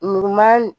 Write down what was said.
Nuguman